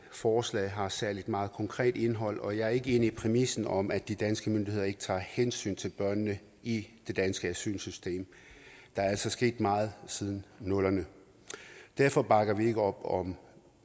forslaget har særlig meget konkret indhold og jeg er ikke enig i præmissen om at de danske myndigheder ikke tager hensyn til børnene i det danske asylsystem der er altså sket meget siden nullerne derfor bakker vi ikke op om